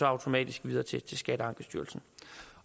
automatisk videre til til skatteankestyrelsen